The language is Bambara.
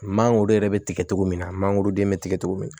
Mangoro yɛrɛ bɛ tigɛ cogo min na mangoroden bɛ tigɛ cogo min